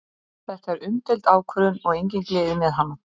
Þetta er umdeild ákvörðun og engin gleði með hana.